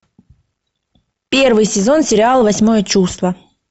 первый сезон сериал восьмое чувство